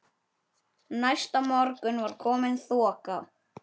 Næsta morgun var komin þoka.